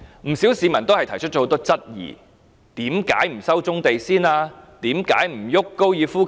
不少市民提出很多質疑，為甚麼不先回收棕地？